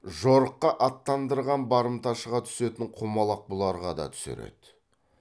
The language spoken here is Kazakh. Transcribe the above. жорыққа аттандырған барымташыға түсетін құмалақ бұларға да түсер еді